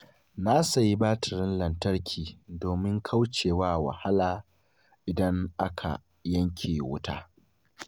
Na sayi batirin lantarki domin kauce wa wahala idan aka yanke wuta.